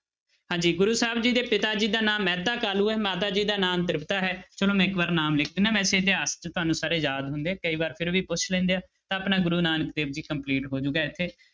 ਹਾਂਜੀ ਗੁਰੁ ਸਾਹਿਬ ਜੀ ਦੇ ਪਿਤਾ ਜੀ ਦਾ ਨਾਮ ਮਹਿਤਾ ਕਾਲੂ ਹੈ ਮਾਤਾ ਜੀ ਦਾ ਨਾਮ ਤ੍ਰਿਪਤਾ ਹੈ ਚਲੋ ਮੈਂ ਇੱਕ ਵਾਰ ਨਾਮ ਲਿਖ ਦਿਨਾ ਵੈਸੇ ਇਤਿਹਾਸ 'ਚ ਤੁਹਾਨੂੰ ਸਾਰੇ ਯਾਦ ਹੁੰਦੇ ਆ ਕਈ ਵਾਰ ਫਿਰ ਵੀ ਪੁੱਛ ਲੈਂਦੇ ਆ ਆਪਣਾ ਗੁਰੂ ਨਾਨਕ ਦੇਵ ਜੀ complete ਹੋ ਜਾਊਗਾ ਇੱਥੇ।